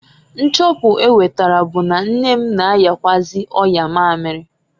Nchọpu enwetara bu na nne m na-ayakwụazị ọya mamiri (ọya shuga).